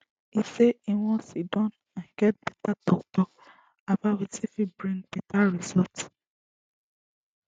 e say e wan sidon and get beta toktok about wetin fit bring beta results